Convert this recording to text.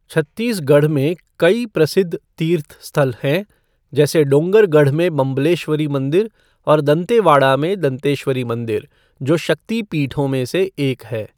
छत्तीसगढ़ में कई प्रसिद्ध तीर्थ स्थल हैं, जैसे डोंगरगढ़ में बम्बलेश्वरी मंदिर और दंतेवाड़ा में दंतेश्वरी मंदिर, जो शक्ति पीठों में से एक है।